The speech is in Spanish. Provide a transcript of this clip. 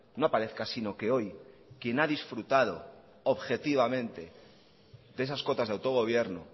no aparezca sino que hoy quien ha disfrutado objetivamente de esas cotas de autogobierno